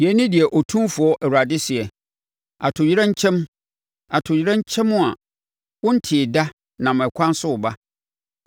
“Yei ne deɛ Otumfoɔ Awurade seɛ: “ ‘Atoyerɛnkyɛm! Atoyerɛnkyɛm a wontee da nam ɛkwan so reba!